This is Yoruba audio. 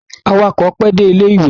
Awakọ̀ pẹ́ dé ilé-ìwé.